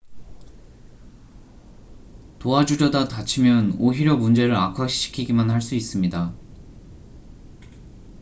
도와주려다 다치면 오히려 문제를 악화시키기만 할 수 있습니다